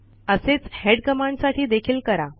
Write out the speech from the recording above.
असेच हेड कमांडसाठी देखील करा